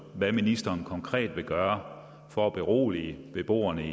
hvad ministeren konkret vil gøre for at berolige beboerne